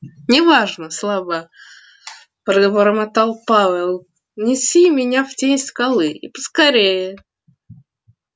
не важно слабо пробормотал пауэлл неси меня в тень скалы и поскорее